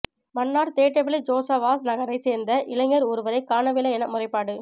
மன்னார் தேட்டவெளி ஜோசவாஸ் நகரைச் சேர்ந்த இளைஞர் ஒருவரை காணவில்லை என முறைப்பாடு